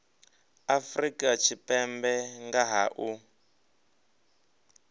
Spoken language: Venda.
afrika tshipembe nga ha u